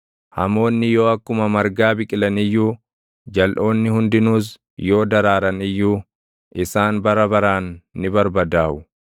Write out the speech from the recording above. hamoonni yoo akkuma margaa biqilan iyyuu, jalʼoonni hundinuus yoo daraaran iyyuu, isaan bara baraan ni barbadaaʼu.